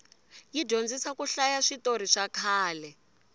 yi dyondzisa ku hlaya switorhi swakhale